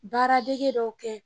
Baaradege dɔw kɛ